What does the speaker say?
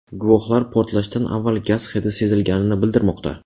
Guvohlar portlashdan avval gaz hidi sezilganini bildirmoqda.